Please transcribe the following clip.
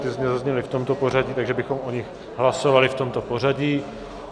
Ty zde zazněly v tomto pořadí, takže bychom o nich hlasovali v tomto pořadí.